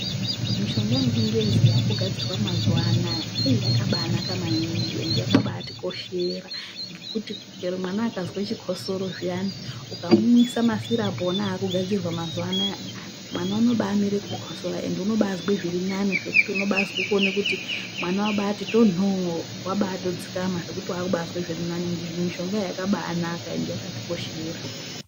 Mushonga yechingezi yakugadzirwa mazuwanaya yakabanaka maningi ende yakatikoshera ngekuti chero mwana akazwe chikosoro ukamumwisa masirapu akugadzirwa mazuwanaya mwana unobamire kukosora ende unobazwa zviri nani zvekuti unonase kubazwe kuti mwana wabati tonho wabatodzikama nekuti wakuzwa zvakanaka. Mishonga iyo yakabakana ende yakatikoshera.